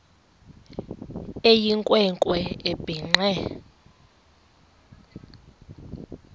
eyinkwe nkwe ebhinqe